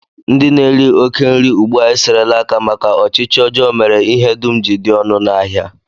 Ndị na-eri oké nri ugbu a eserela aka maka ọchịchị ọjọọ mere ihe dum ji dị ọnụ n'ahịa